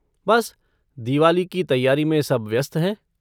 बस दिवाली की तैयारी में सब व्यस्त हैं।